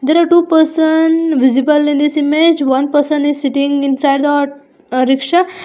There are two person visible in this image one person is sitting inside the aut rickshaw.